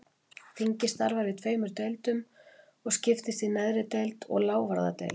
Þingið starfar í tveimur deildum og skiptist í neðri deild og lávarðadeild.